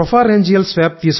రేంజియల్ swab